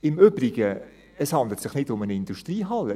Im Übrigen: Es handelt sich nicht um eine Industriehalle.